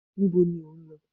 níbo ni o n lo?